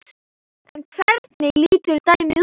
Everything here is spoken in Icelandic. En hvernig lítur dæmið út?